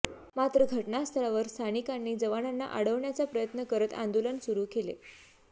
मात्र घटनास्थळावर स्थानिकांनी जवानांना अडवण्याचा प्रयत्न करत आंदोलन सुरु केले